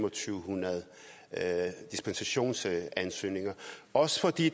hundrede dispensationsansøgninger også fordi